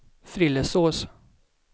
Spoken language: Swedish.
Frillesås